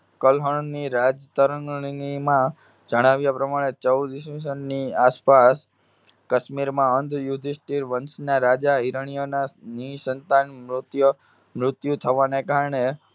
કલ્હણની રાજકારણીમાં જણાવ્યા પ્રમાણે ચૌદ ઈસ્વીસનની આસપાસ કશ્મીરમાં અંધ યુધિષ્ઠિર વંશના રાજા હિરણ્યના નિઃસંતાન મૃત્ય~મૃત્યુ થવાને કારણે